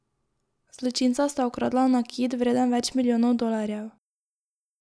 Zločinca sta ukradla nakit, vreden več milijonov dolarjev.